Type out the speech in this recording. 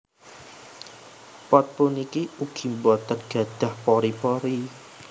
Pot puniki ugi boten gadhah pori pori